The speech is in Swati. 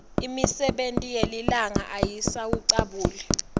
imisebe yelilanga ayisawucabuli